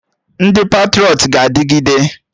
Ndị patrọịt ga-adịgide